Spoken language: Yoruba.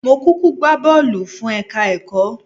Mó kúkú gbá bọ́ọ̀lù fún ẹ̀ka-ẹ̀kọ́